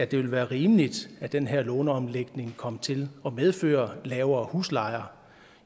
det vil være rimeligt at den her låneomlægning kom til at medføre lavere huslejer